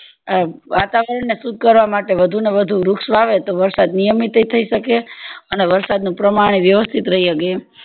વાતાવરણ ને શુદ્ધ કરવા માટે વધુ ને વધુ વૃક્ષ વાવે તો વરસાદ નિયમિત અય થય શકે અને વરસાદ નું પ્રમાણ માં વ્યવ્સ્તીત રય શકે